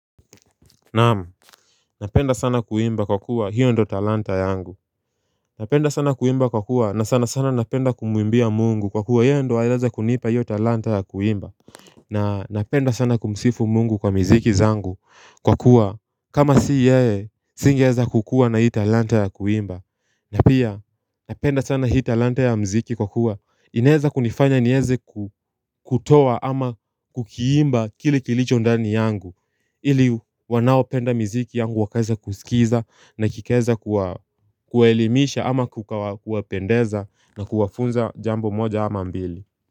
Naam, napenda sana kuimba kwa kuwa hio ndio talanta yangu Napenda sana kuimba kwa kuwa na sana sana napenda kumuimbia Mungu kwa kuwa yeye ndiye aliweza kunipa hio talanta ya kuimba na napenda sana kumsifu Mungu kwa miziki zangu kwa kuwa kama si yeye singeweza kukuwa na hii talanta ya kuimba na pia, napenda sana hii talanta ya muziki kwa kuwa inaeza kunifanya nieze kutoa ama kukiimba kile kilicho ndani yangu ili wanaopenda miziki yangu wakaweza kusikiza na kikaweza kuwa kuwaelimisha ama kukawa kuwapendeza na kuwafunza jambo moja ama mbili.